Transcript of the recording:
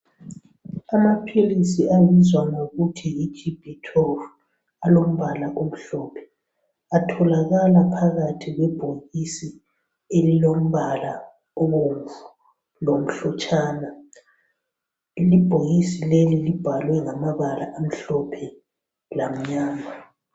Amaphilisi abizwa ngokuthi yi GB-12 alombala omhlophe atholakala phakathi kwebhokisi elilombala obomvu lomhlotshana. Ibhokisi leli libhalwe ngamabala amhlophe lamnyama.